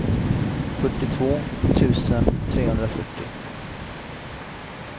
fyrtiotvå tusen trehundrafyrtio